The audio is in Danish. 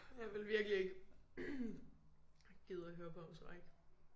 Jeg ville virkelig ikke gide at høre på ham tror jeg ikke